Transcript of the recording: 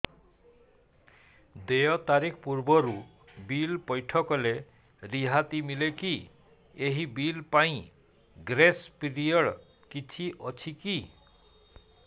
ଦେୟ ତାରିଖ ପୂର୍ବରୁ ବିଲ୍ ପୈଠ କଲେ ରିହାତି ମିଲେକି ଏହି ବିଲ୍ ପାଇଁ ଗ୍ରେସ୍ ପିରିୟଡ଼ କିଛି ଅଛିକି